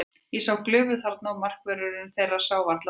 Ég sá glufu þarna og markvörðurinn þeirra sá varla boltann.